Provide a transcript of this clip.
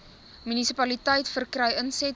munisipaliteit verkry insette